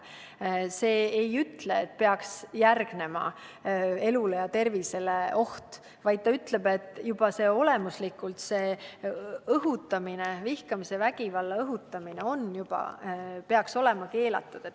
See ei ütle, et peaks järgnema oht elule ja tervisele, vaid see ütleb, et juba olemuslikult selline vihkamise ja vägivalla õhutamine peab olema keelatud.